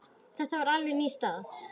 Þetta er alveg ný staða.